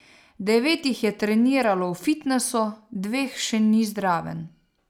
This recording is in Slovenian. Devet jih je treniralo v fitnesu, dveh še ni zraven.